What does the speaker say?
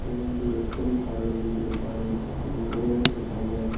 இது வந்து ஸ்_ம் காலேஜ்னு சொல்லி ஒரு காலேஜ் இதுல நேரிய பேரு இருக்காங்க.